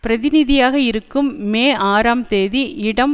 பிரதிநிதியாக இருக்கும் மே ஆறாம் தேதி இடம்